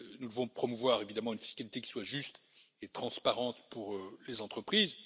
Nous devons promouvoir évidemment une fiscalité qui soit juste et transparente pour les entreprises.